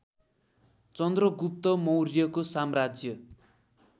चन्द्रगुप्त मौर्यको साम्राज्य